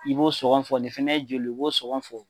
I b'o sɔngɔn fɔ nin fɛnɛ ye joli i b'o sɔngɔn fɔ.